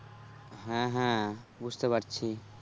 হ্যাঁ হ্যাঁ বুঝতে পারছি